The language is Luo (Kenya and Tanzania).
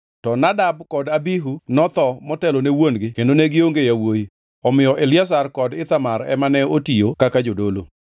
To Nadab kod Abihu notho motelone wuon-gi kendo ne gionge gi yawuowi; omiyo Eliazar kod Ithamar ema ne otiyo kaka jodolo.